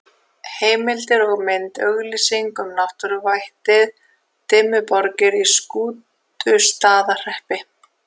Heimildir og mynd: Auglýsing um náttúruvættið Dimmuborgir í Skútustaðahreppi.